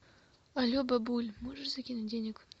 але бабуль можешь закинуть денег